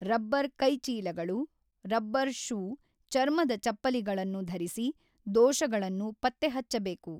Rubber ಕೈಚೀಲಗಳು rubber shoe ಚರ್ಮದ ಚಪ್ಪಲಿಗಳನ್ನು ಧರಿಸಿ ದೋಷಗಳನ್ನು ಪತ್ತೆಹಚ್ಚಬೇಕು.